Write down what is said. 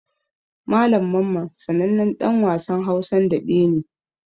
Malam Mamman sanannen ɗan wasan Hausan daɓe ne.